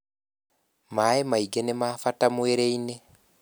maĩ maingi nima bata mwĩrĩ-ini